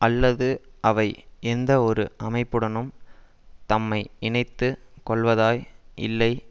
அல்லது அவை எந்த ஒரு அமைப்புடனும் தம்மை இணைத்து கொள்வதாய் இல்லை